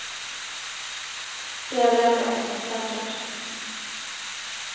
Det är väl ändå ett som är säkert.